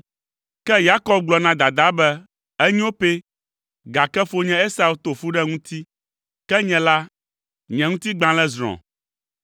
Ke Yakob gblɔ na dadaa be, “Enyo pɛ, gake fonye Esau to fu ɖe ŋuti, ke nye la, nye ŋutigbalẽ zrɔ̃.